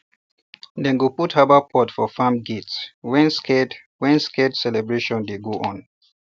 dem go put herbal pot for farm gate when sacred when sacred celebration dey go on